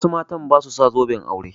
Wasu matan ba su sa zoben aure.